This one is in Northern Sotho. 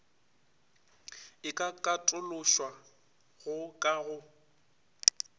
e ka katološwago ka go